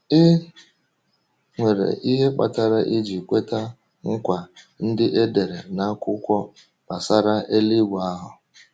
Ị nwere ihe kpatara iji kweta nkwa ndị e dere n’akwụkwọ gbasara eluigwe ahụ.